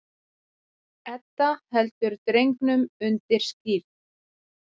Edda heldur drengnum undir skírn.